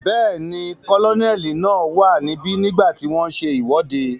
Bẹ́ẹ̀ni, kólóníẹ̀ náà wà níbi nígbàtí wọ́n n ṣe ìwọ́de